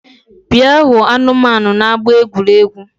Bịa hụ anụmanu n’ama egwuregwu